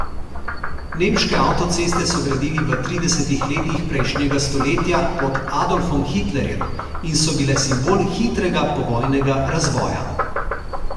Nemške avtoceste so gradili v tridesetih letih prejšnjega stoletja pod Adolfom Hitlerjem in so bile simbol hitrega povojnega razvoja.